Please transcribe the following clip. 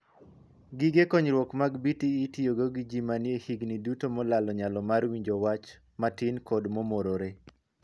Gige konyruok mag 'BTE' itiyogo gi jii manie e higni duto molalo nyalo mar winjo wach matin kod mo morore.